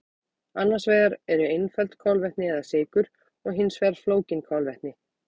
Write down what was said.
Annars vegar eru einföld kolvetni eða sykur og hins vegar flókin kolvetni.